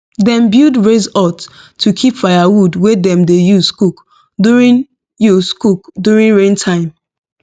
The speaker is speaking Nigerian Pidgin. dem build raised hut to keep firewood wey dem dey use cook during use cook during rain time